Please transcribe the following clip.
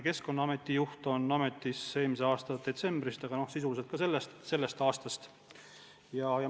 Keskkonnaameti juht on ametis eelmise aasta detsembrist, aga sisuliselt ikkagi sellest aastast.